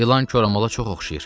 İlan koramala çox oxşayır.